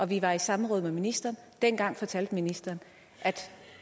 vi var i samråd med ministeren og dengang fortalte ministeren at